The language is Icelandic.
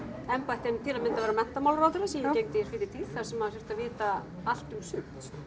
embætti en til að mynda að vera menntamálaráðherra sem ég gegndi í fyrri tíð þar sem maður þurfti að vita allt um sumt